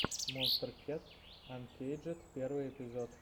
монстер кэт анкейджед первый эпизод